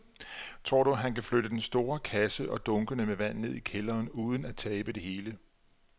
Tror du, at han kan flytte den store kasse og dunkene med vand ned i kælderen uden at tabe det hele?